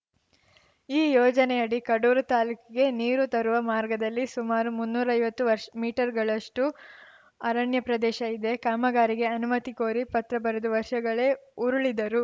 ಈ ಯೋಜನೆಯಡಿ ಕಡೂರು ತಾಲೂಕಿಗೆ ನೀರು ತರುವ ಮಾರ್ಗದಲ್ಲಿ ಸುಮಾರು ಮುನ್ನೂರೈವತ್ತು ವರ್ಷ್ ಮೀಟರ್‌ಗಳಷ್ಟುಅರಣ್ಯ ಪ್ರದೇಶ ಇದೆ ಕಾಮಗಾರಿಗೆ ಅನುಮತಿ ಕೋರಿ ಪತ್ರ ಬರೆದು ವರ್ಷಗಳೇ ಉರುಳಿದರು